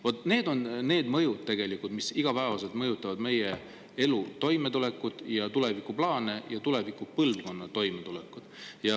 Vaat need on need mõjud, mis igapäevaselt mõjutavad meie elu, toimetulekut ja tulevikuplaane ning tuleviku põlvkonna toimetulekut.